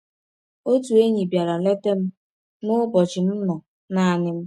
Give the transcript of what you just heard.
Otu enyi bịara leta m n’ụbọchị m nọ naanị m.